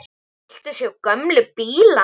Viltu sjá gömlu bílana?